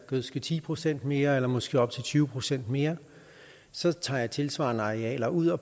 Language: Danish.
gødske ti procent mere eller måske op til tyve procent mere så tager han tilsvarende arealer ud og